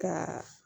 Ka